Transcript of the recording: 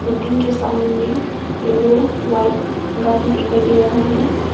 Building के सामने में येलो व्हाइट गाड़ी दिखाई दे रहा है।